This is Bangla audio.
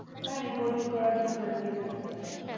হ্যাঁ reporting করার জন্য active থাকতে হয়।